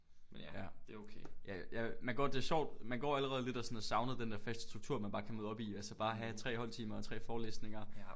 Ja ja ja man går det er sjovt man går allerede lidt og sådan og savner den der faste struktur man bare kan møde op i altså bare at have 3 holdtimer og 3 forelæsninger